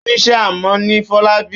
Ó níṣe amọ̀ ni Fọlábí.